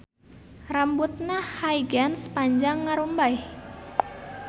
Rambutna Huygens panjang ngarumbay